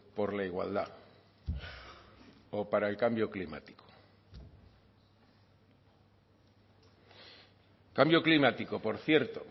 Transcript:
por la igualdad o para el cambio climático cambio climático por cierto